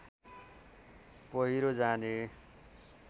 पहिरो जाने